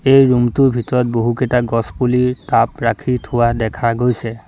এই ৰুমটোৰ ভিতৰত বহুকেইটা গছপুলি কাপ ৰাখি থোৱা দেখা গৈছে।